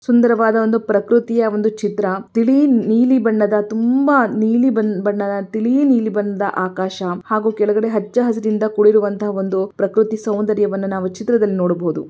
ಸುಂದರವಾದ ಒಂದು ಪ್ರಕೃತಿಯ ಒಂದು ಚಿತ್ರ ತಿಳಿ ನೀಲಿ ಬಣ್ಣದ ತುಂಬಾ ನೀಲಿ ಬಣ್ಣದ ತಿಳಿ ನೀಲಿ ಬಣ್ಣದ ಆಕಾಶ ಹಾಗೂ ಕೆಳಗಡೆ ಹಚ್ಚಹಸಿರಿನಿಂದ ಕೂಡಿರುವಂತಹ ಒಂದು ಪ್ರಕೃತಿ ಸೌಂದರ್ಯವನ್ನು ನಾವು ಚಿತ್ರದಲ್ಲಿ ನೋಡಬಹುದು.